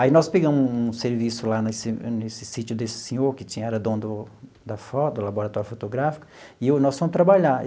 Aí nós pegamos um serviço lá nesse nesse sítio desse senhor, que tinha era dono da foto, do laboratório fotográfico, e eu nós fomos trabalhar.